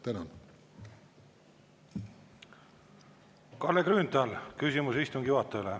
Kalle Grünthal, küsimus istungi juhatajale.